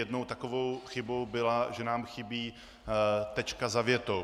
Jednou takovou chybou bylo, že nám chybí tečka za větou.